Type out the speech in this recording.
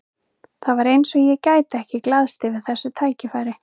Það var eins og ég gæti ekki glaðst yfir þessu tækifæri.